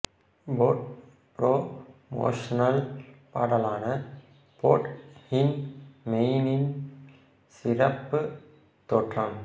boat promotional பாடலான போட் ஹூன் மெயினில் சிறப்பு தோற்றம்